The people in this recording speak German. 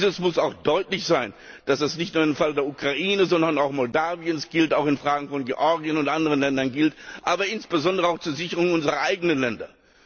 Dieses muss auch deutlich sein, dass das nicht nur im Fall der Ukraine, sondern auch Moldawiens gilt, auch in Fragen von Georgien und anderen Ländern, aber insbesondere auch zur Sicherung unserer eigenen Länder.